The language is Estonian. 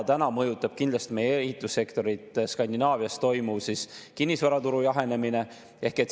Praegu mõjutab meie ehitussektorit Skandinaavias toimuv kinnisvaraturu jahenemine.